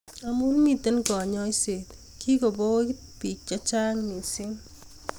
Amu mitei kanyoiset kikoboit biik che chang' misng